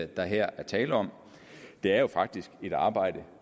der her er tale om det er jo faktisk et arbejde